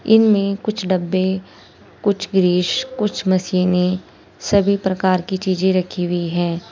इनमें कुछ डब्बे कुछ गिरीश कुछ मशीने सभी प्रकार की चीजे रखी हुई है।